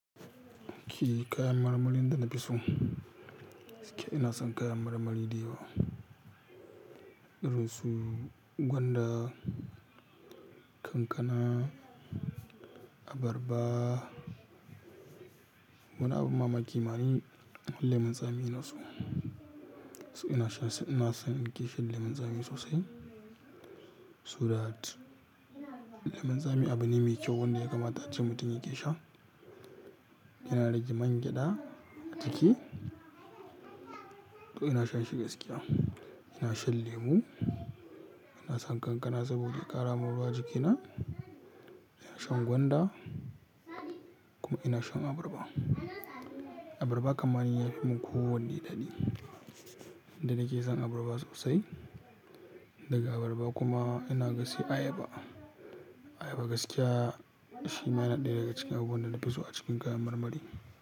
Kiyi kayan marmarin da na fi so, gaskiya ina son kayan marmari dayawa. Irin su gwanda, kankana, abarba. Wani abun mamaki ma ni, lemun tsami ina so. Ina shan sa, ina son in gaishe lemon tsami sosai. Saboda lemon tsami abu ne mai kyau wanda ya kamata a ce mutum yake sha. Yana rage mangyada a jiki. To ina shan shi gaskiya. Ina shan lemu, ina son kankana saboda ƙara mun ruwa a jikina. Ina shan gwanda kuma ina shan abarba. Abarba kamar yafi mun ko wanne daɗi. Da nake son abarba sosai. Daga abarba kuma ina ga sai ayaba. Ayaba gaskiya shi ma yana ɗaya daga cikin abubuwan da na fi so a cikin kayan marmari.